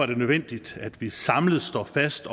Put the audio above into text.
det nødvendigt at vi samlet står fast